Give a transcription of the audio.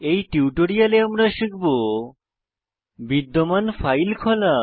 এই টিউটোরিয়ালে আমরা শিখব বিদ্যমান ফাইল খোলা